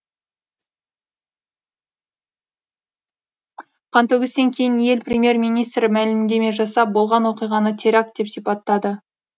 қантөгістен кейін ел премьер министрі мәлімдеме жасап болған оқиғаны теракт деп сипаттады